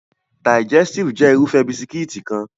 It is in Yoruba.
Digẹstive jẹ́ Irúfẹ́ bisikíìtì kan